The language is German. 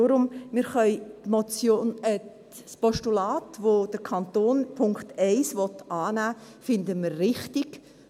Deshalb: Das Postulat, bei dem der Kanton Punkt 1 annehmen will, finden wir richtig.